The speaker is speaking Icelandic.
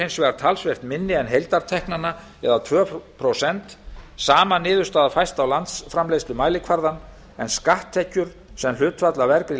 hins vegar talsvert minni en heildarteknanna það er tvö prósent sama niðurstaða fæst á landsframleiðslumælikvarðann en skatttekjur sem hlutfall af vergri